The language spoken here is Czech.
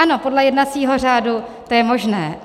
Ano, podle jednacího řádu, to je možné.